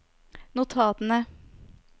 notatene